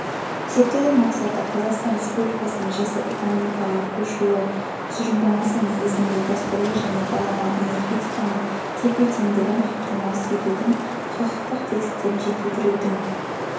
зерттеудің мақсаты қазақстан республикасының жасыл экономикаға көшуі тұжырымдамасы негізінде дәстүрлі және балама энергетиканың тепе-теңдігін қамтамасыз етудің құқықтық тетіктерін жетілдірудің